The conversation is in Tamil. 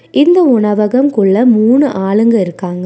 இந்த உணவகம் குள்ள மூணு ஆளுங்க இருக்காங்க.